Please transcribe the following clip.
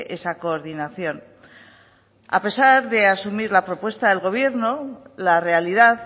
esa coordinación a pesar de asumir la propuesta el gobierno la realidad